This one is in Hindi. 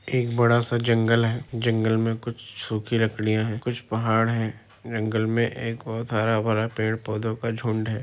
एक बड़ा-सा जंगल है जंगल मे कुछ सुखी लकड़ियाँ है कुछ पहाड़ है जंगल मे एक बहुत हरा-भरा पेड़ पौधों का झुंड है।